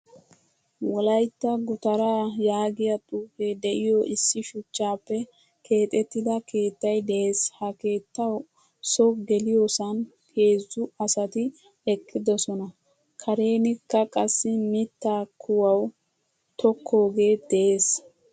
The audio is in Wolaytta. Wolaytta gutara yaagiyaa xuufe de'iyo issi shuchchappe keexettida keettay de'ees. Ha keettawu so geliyosan heezzu asati eqqidosona. Karenikka qassi mitta kuwawu tokkoge de'ees.